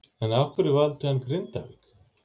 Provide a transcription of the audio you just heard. En af hverju valdi hann Grindavík?